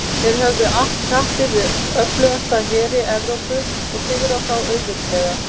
Þeir höfðu att kappi við öflugustu heri Evrópu og sigrað þá auðveldlega.